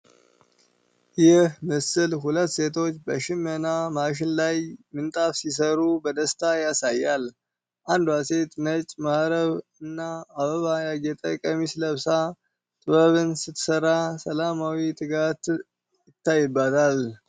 ይህ ምስል ሁለት ሴቶች በሽመና ማሽን ላይ ምንጣፍ ሲሰሩ በደስታ ያሳያል። አንዷ ሴት ነጭ መሀረብ እና አበባ ያጌጠ ቀሚስ ለብሳ ጥበብን ስትሰራ ሰላማዊ ትጋት ይታይባታል።